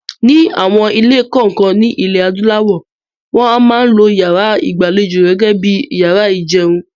Ni àwọn ilé kọ̀ọ̀kan ní ilẹ̀ adúláwọ̀, wọn a máa lo yàrá ìgbàlejò gẹ́gẹ́ bíi yàrá ìjẹun.